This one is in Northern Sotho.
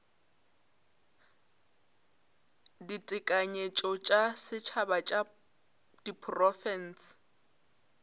ditekanyetšo tša setšhaba tša diprofense